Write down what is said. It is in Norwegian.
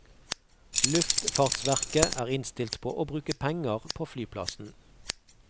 Luftfartsverket er innstilt på å bruke penger på flyplassen.